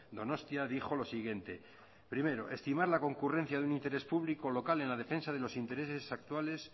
donostia dijo lo siguiente primero estimar la concurrencia de un interés público local en la defensa de los intereses actuales